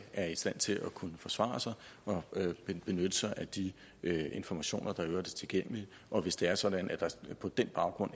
er i stand til at kunne forsvare sig og benytte sig af de informationer der i øvrigt er tilgængelige og hvis det er sådan at der på den baggrund